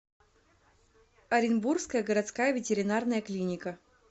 оренбургская городская ветеринарная клиника